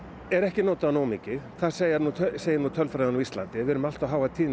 er ekki notaður nógu mikið það segir nú segir nú tölfræðin á Íslandi við erum með allt of háa tíðni